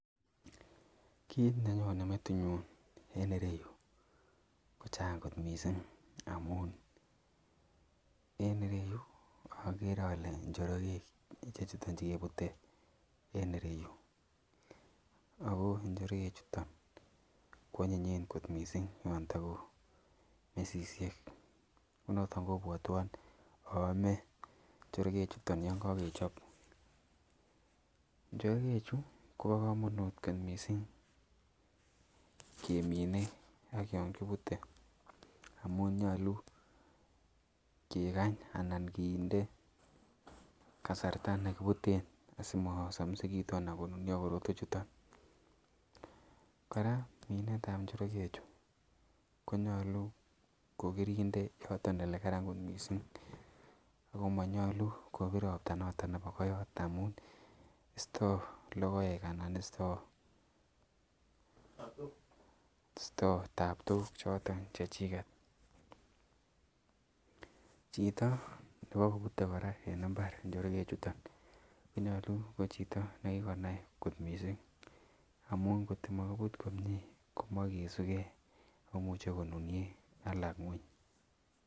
Kit nenyonen metit nenyunen ireyu ko Chang kot mising amun en ireyu agere Kole Njorogek ichechuchon chekebute en iyeyu ako njereguk chuton kwanyin kot mising yantago mesisiek ako noton kobwateon aame sakek chuton yangagechop Njorogek ichechuchon chekebute ko ba kamanut kot mising kemine ak yangibute amun nyali kegany anan kinde kasarta nekibuten asimasamisikitun anan konunio korotwek chuton ,koraa Minet ab Njorogek ichechuchon konyalu kokerinde olekararan komie akomanyalu kibire robta amun isto logoek anan isto Tabtok choton chechiket chito nebute koraa en imbar Njorogek ichechuchon konyalu ko Chito nikikonai kot mising amun kot komakibut komie komakesu gei akomuche konunio alak ngweny